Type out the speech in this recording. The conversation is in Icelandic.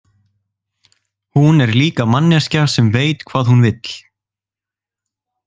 Hún er líka manneskja sem veit hvað hún vill.